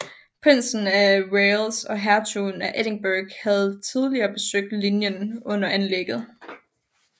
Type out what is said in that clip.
Prinsen af Wales og Hertugen af Edinburgh havde tidligere besøgt linjen under anlægget